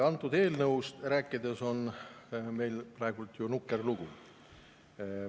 Antud eelnõuga on meil praegu ju nukker lugu.